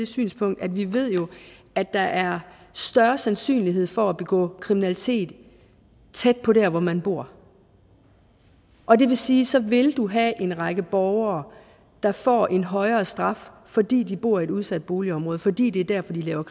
synspunkt vi jo ved at der er større sandsynlighed for at begå kriminalitet tæt på det sted hvor man bor og det vil sige at så vil du have en række borgere der får en højere straf fordi de bor i et udsat boligområde fordi det er dér de laver